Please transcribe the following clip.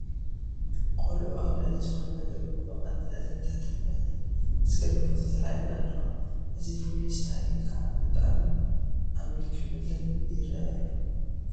ቆልዑ ኣብ ልዕሊ ዝኾነ ነገር ብምቕማጥ ልዕለን ትሕተን ኮይነን ዘግርም ፎቶ ተላዒለን ኣለዋ፡፡ እዚ ፍሉይ ስታይል ከዓ ብጣዕሚ ኣመልኪዑለን ይርአ ኣሎ፡፡